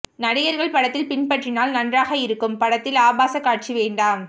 நடிகர்கள் படத்தில் பின்பற்றினால் நன்றாக இருக்கும் படத்தில் ஆபாச காட்சி வேண்டாம்